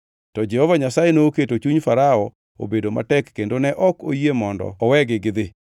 To Jehova Nyasaye noketo chuny Farao obedo matek kendo ne ok oyie mondo owegi gidhi.